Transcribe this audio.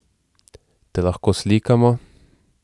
Te lahko slikamo?